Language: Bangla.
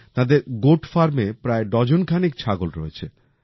তাঁদের গোট ফার্মে প্রায় ডজন খানেক ছাগল রয়েছে